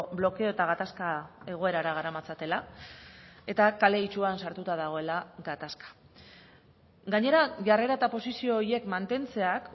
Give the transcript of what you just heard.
blokeo eta gatazka egoerara garamatzatela eta kale itsuan sartuta dagoela gatazka gainera jarrera eta posizio horiek mantentzeak